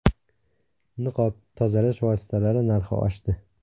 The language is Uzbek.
Niqob, tozalash vositalari narxi oshdi.